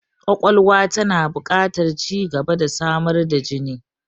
Ƙwaƙwalwa tana buƙatar ci gaba da samar da jini.